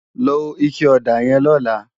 Ló iké òdá yèn lòlá